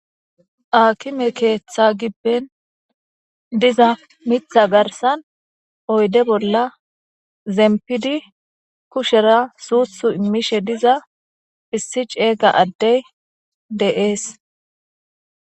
Aakime keeththa gibben diza mitha garsan oyde bolla zempidi kushera suuthu immishe diza issi ceega addey de7ees.